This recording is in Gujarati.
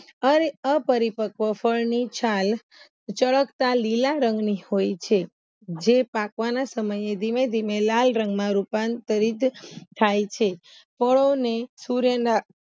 અપરીપક્વા ફળની છાલ ચળકતા લીલા રંગની હોય છે જે પાકવાના સમયે ધીમે ધીમે લાલ રંગમાં રૂપાંતરિત થાય છે